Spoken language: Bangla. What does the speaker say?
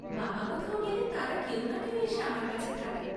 বাবা কোথাও গেলে তারা কেউ না কেউ এসে আমার কাছে থাকে।